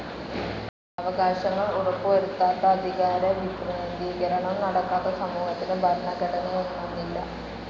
അവകാശങ്ങൾ ഉറപ്പു വരുത്താത്ത, അധികാരവികേന്ദ്രീകരണം നടക്കാത്ത സമൂഹത്തിനു ഭരണഘടനയെന്നൊന്നില്ല.